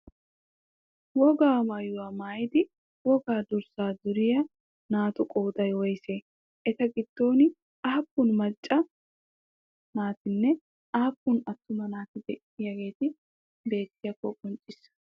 Wogaa maayyuwaa maayyidi wogaa durssaa duriyaa naatu qooday woysee? Eta giddon aappun macca naatinne aappun attuma naati de'iyaageti beettiyakko qonccissa?